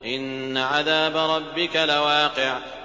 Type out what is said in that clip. إِنَّ عَذَابَ رَبِّكَ لَوَاقِعٌ